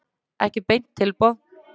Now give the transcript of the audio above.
Ekki beint tilboð.